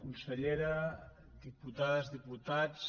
consellera diputades diputats